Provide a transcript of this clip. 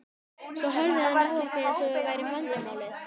Svo horfði hann á okkur eins og við værum vandamálið.